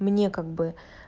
мне как бы